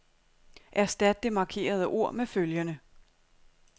Erstat det markerede ord med følgende.